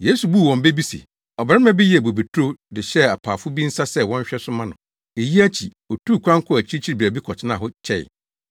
Yesu buu wɔn bɛ bi se, “Ɔbarima bi yɛɛ bobeturo de hyɛɛ apaafo bi nsa sɛ wɔnhwɛ so mma no. Eyi akyi, otuu kwan kɔɔ akyirikyiri baabi kɔtenaa hɔ kyɛe.